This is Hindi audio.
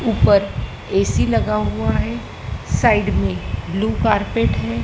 ऊपर ए_सी लगा हुआ है साइड में ब्लू कारपेट है।